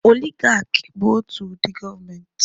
Oligaki bụ otu ụdị gọọmenti